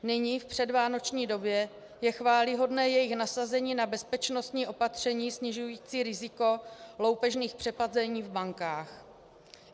Nyní, v předvánoční době, je chvályhodné jejich nasazení na bezpečnostní opatření snižující riziko loupežných přepadení v bankách.